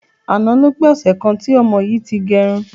Àná ló pé ọsẹ̀ kan tí ọmọ yìí ti gẹrun.